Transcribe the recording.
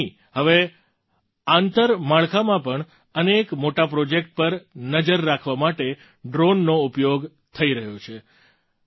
એટલું જ નહીં હવે આંતરમાળખામાં અનેક મોટા પ્રૉજેક્ટ પર નજર રાખવા માટે ડ્રૉનનો ઉપયોગ થઈ રહ્યો છે